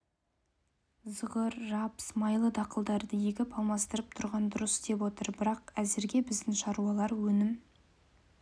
зығыр рапс майлы дақылдарды егіп алмастырып тұрған дұрыс деп отыр бірақ әзірге біздің шаруалар өнім